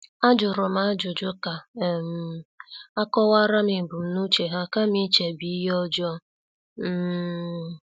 Ajurum ajụjụ ka um akowaram ebumnuche ha kama ichebe ihe ọjọọ. um